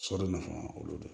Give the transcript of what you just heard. Sɔli nafa olu de